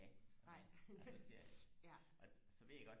a og me og det siger jeg ikke og så ved jeg godt